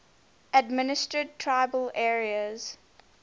administered tribal areas